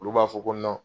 Olu b'a fɔ ko